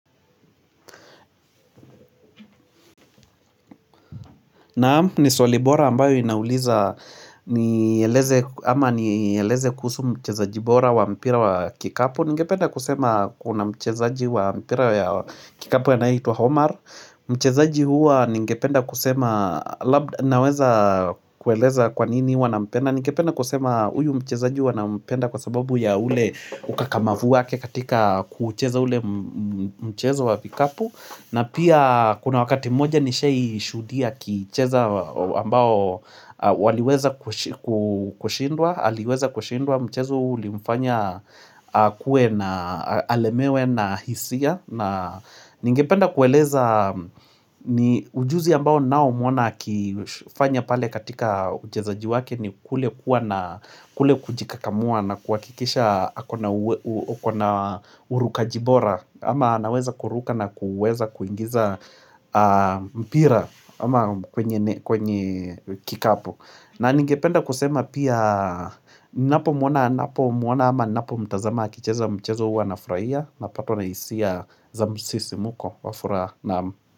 Naam ni swali bora ambayo inauliza nieleze ama ni eleze kuhusu mchezaji bora wa mpira wa kikapu. Ningependa kusema kuna mchezaji wa mpira ya kikapu anayeitwa Homar Mchezaji hua ningependa kusema labda naweza kueleza kwa nini huwa nampenda Ningependa kusema huyu mchezaji huwa nampenda kwa sababu ya ule ukakamavu wake katika kuucheza ule mchezo wa vikapu. Na pia kuna wakati moja nishai shuhudia akicheza ambao waliweza kushindwa aliweza kushindwa mchezo uli mfanya kuwe na alemewe na hisia na ningependa kueleza ni ujuzi ambao ninaomuona akifanya pale katika uchezaji wake ni kule kuwa na kule kujikakamua na kuwakikisha akona urukaji bora ama anaweza kuruka na kuweza kuingiza mpira ama kwenye ne kwenye kwenye kikapu na ningependa kusema pia ninapo muona ama ninapo mtazama akicheza mchezo hua na furahia napatwa na hisia za msisimuko wa furaha naam.